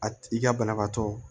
A i ka banabaatɔ